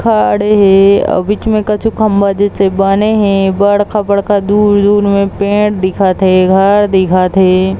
खड़े हे आऊ बीच म कुछु खंभा जैसे बने हे बड़का-बड़का दूर-दूर में पेड़ दिखत हे घर दिखत हे।